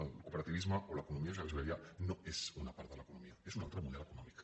el cooperativisme o l’economia social i solidària no són una part de l’economia són un altre model econòmic